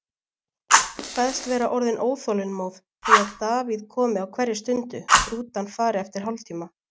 Kveðst vera orðin óþolinmóð því að Davíð komi á hverri stundu, rútan fari eftir hálftíma.